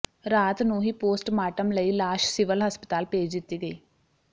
ਰਾਤ ਨੂੰ ਹੀ ਪੋਸਟਮਾਰਟਮ ਲਈ ਲਾਸ਼ ਸਿਵਲ ਹਸਪਤਾਲ ਭੇਜ ਦਿੱਤੀ ਗਈ